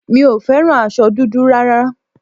Mi ò fẹ́ràn aṣọ dúdú rárá